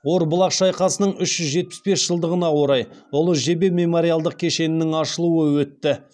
орбұлақ шайқасының үш жүз жетпіс бес жылдығына орай ұлы жебе мемориалдық кешенінің ашылуы өтті